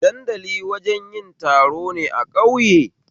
Dandali wajen yin taro ne a ƙauye